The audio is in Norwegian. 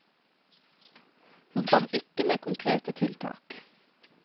Hun kom ikke med konkrete tiltak.